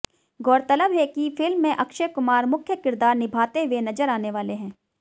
गौरतलब है कि फिल्म में अक्षय कुमार मुख्य किरदार निभाते हुए नजर आने वाले हैं